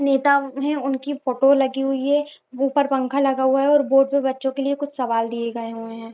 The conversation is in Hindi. नेता उन्हें उनकी फोटो लगी हुई है ऊपर पंखा लगा हुआ है और बोर्ड पे बच्चों के लिए कुछ सवाल दिए गए हुए है।